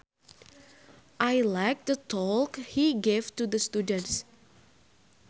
I liked the talk he gave to the students